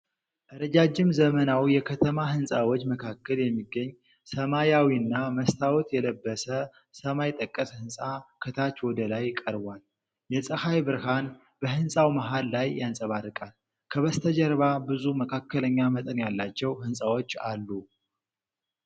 ረጃጅም ዘመናዊ የከተማ ሕንፃዎች መካከል የሚገኝ ሰማያዊና መስታወት የለበሰ ሰማይ ጠቀስ ሕንጻ ከታች ወደ ላይ ቀርቧል። የፀሐይ ብርሃን በህንፃው መሃል ላይ ያንጸባርቃል፤ ከበስተጀርባ ብዙ መካከለኛ መጠን ያላቸው ሕንፃዎች አሉ።